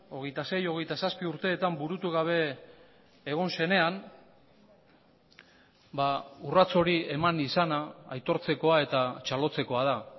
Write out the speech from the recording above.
hogeita sei hogeita zazpi urteetan burutu gabe egon zenean urrats hori eman izana aitortzekoa eta txalotzekoa da